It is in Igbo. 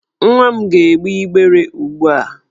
Nwa m na-egbe igbere ugbu a.